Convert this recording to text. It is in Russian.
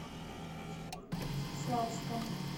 славском